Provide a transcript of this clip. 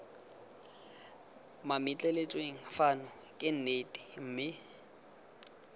mametleletsweng fano ke nnete mme